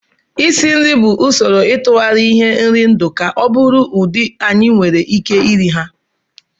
Isi nri bụ usoro ịtụgharị ihe nri ndụ ka ọ bụrụ ụdị anyị nwere ike iri ha